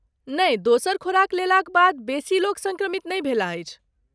नहि, दोसर खुराक लेलाक बाद बेसी लोक सङ्क्रमित नहि भेलाह अछि।